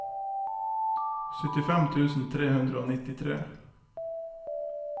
syttifem tusen tre hundre og nittitre